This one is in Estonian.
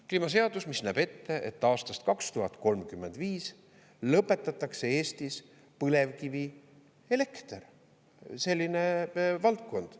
Kliimaseaduse, mis näeb ette, et aastast 2035 lõpetatakse Eestis põlevkivielekter, selline valdkond.